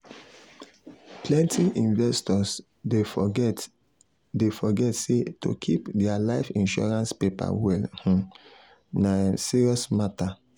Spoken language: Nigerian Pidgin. um plenty investors dey forget dey forget say to keep their life insurance paper well um na um serious matter.